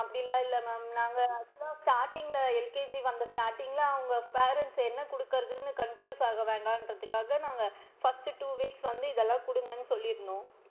அப்படிலா இல்ல ma'am நாங்க actual லா starting ல LKG வந்த starting ல அவுங்க parents என்ன குடுக்குறதுன்னு confuse ஆக வேண்டான்றதுக்காக நாங்க first two weeks வந்து இதலாம் குடுங்கன்னு சொல்லி இருந்தோம்.